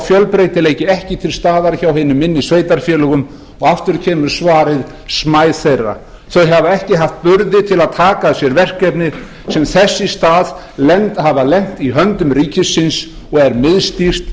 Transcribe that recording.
fjölbreytileiki ekki til staðar hjá hinum minni sveitarfélögum og aftur kemur svarið smæð þeirra þau hafa ekki haft burði til að taka að sér verkefni sem þess í stað hafa lent í höndum ríkisins og er miðstýrt